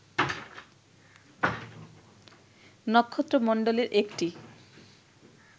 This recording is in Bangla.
নক্ষত্রমন্ডলের একটি